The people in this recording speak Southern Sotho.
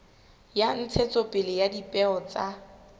ya ntshetsopele ya dipeo tsa